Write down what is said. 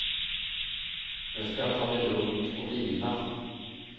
Nu ska jag ta det lugnt och vila.